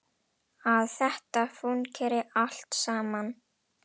Að þetta fúnkeri allt saman.